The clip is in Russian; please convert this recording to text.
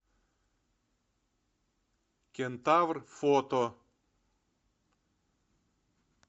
кентавр фото